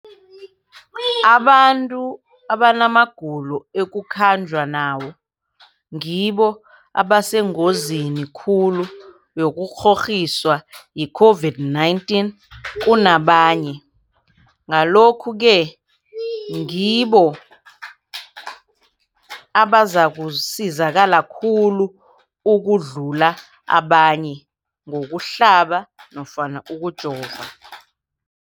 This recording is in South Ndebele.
abantu abanamagulo ekukhanjwa nawo ngibo abasengozini khulu yokukghokghiswa yi-COVID-19 kunabanye, Ngalokhu-ke ngibo abazakusizakala khulu ukudlula abanye ngokuhlaba nofana ngokujova.